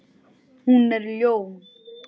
Hún er ljón.